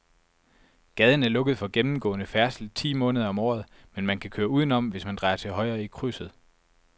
Gaden er lukket for gennemgående færdsel ti måneder om året, men man kan køre udenom, hvis man drejer til højre i krydset.